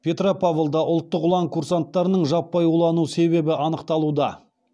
петропавлда ұлттық ұлан курсанттарының жаппай улану себебі анықталуда